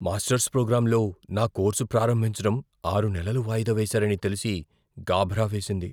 Masters ప్రోగ్రామ్లో మా course ప్రారంభించటం ఆరు నెలలు వాయిదా వేసారని తెలిసి గాభరా వేసింది.